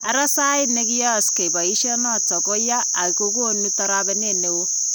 Ara sayiit yekiyaakse bayisyeet noton ko yaa ak kokonuu tarabeneet neon.